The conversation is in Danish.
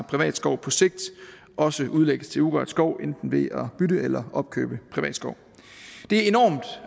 privat skov på sigt også udlægges til urørt skov enten ved at bytte eller opkøbe privat skov det er enormt